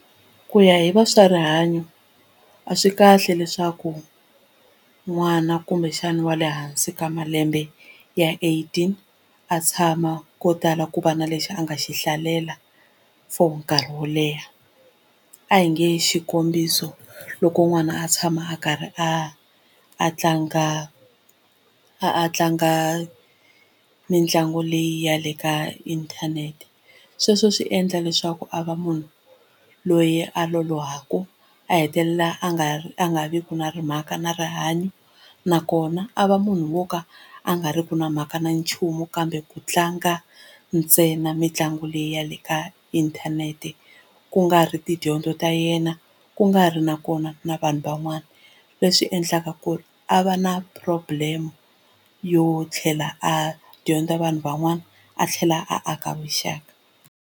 Ku ya hi va swa rihanyo a swi kahle leswaku n'wana kumbexana wa le hansi ka malembe ya eighteen a tshama ko tala ku va na lexi a nga xi hlalela for nkarhi wo leha a hi nge xikombiso loko n'wana a tshama a karhi a a tlanga a tlanga mitlangu leyi ya le ka inthanete sweswo swi endla leswaku a va munhu loyi a lolohaku a hetelela a nga ri a nga vi na mhaka na rihanyo nakona a va munhu wo ka a nga riki na mhaka na nchumu kambe ku tlanga ntsena mitlangu leyi ya le ka inthanete ku nga ri tidyondzo ta yena ku nga ri na kona na vanhu van'wana leswi endlaka ku ri a va na problem yo tlhela a dyondza vanhu van'wana a tlhela a aka vuxaka.